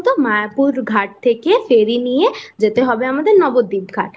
ঘাট থেকে ফেরি নিয়ে যেতে হবে আমাদের নবদ্বীপ ঘাট